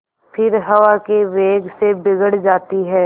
फिर हवा के वेग से बिगड़ जाती हैं